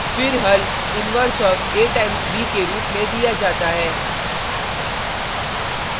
फिर हल inverse of a times b के रूप में दिया जाता है